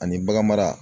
Ani bagan mara